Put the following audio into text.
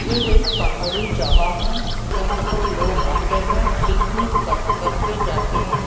ये एक पहाड़ी जगह है। यहां पर लोग आते हैं पिकनिक कर करके जाते हैं।